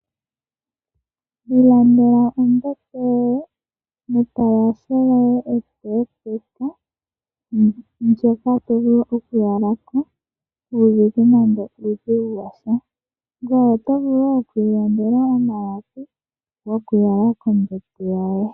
Ilandela ombete yoye netalashe lyoye epepeka. Ndjoka to vulu oku yala ko kuuna nando uudhigu washa. Ngoye oto vulu wo oku ilandela omalapi goku yala kombete yoye.